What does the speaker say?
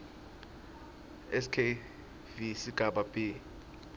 skv sigaba b